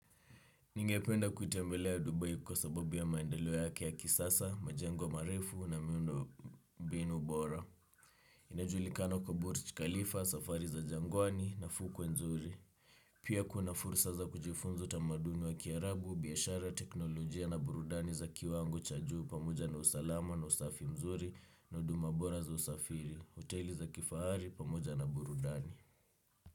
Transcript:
Ningependa kutembelea Dubai kwa sababu ya maendeleo yake ya kisasa, majengo marefu na miundo mbinu bora. Inajulikana kwa Burj Khalifa, safari za jangwani na fukwe nzuri. Pia kuna fursa za kujifunza tamaduni wa kiarabu, biashara teknolojia na burudani za kiwango cha juu pamoja na usalama na usafi mzuri na hudu mabora za usafiri, hoteli za kifahari pamoja na burudani.